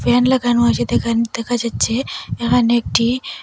Fan লাগানো আছে দেখান দেখা যাচ্ছে এখানে একটি।